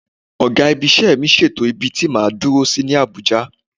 Ọ̀gá-ibi-iṣẹ́ mi ṣètò ibi tí máa dúró sí ní Àbújá.